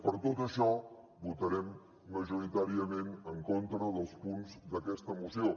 per tot això votarem majoritàriament en contra dels punts d’aquesta moció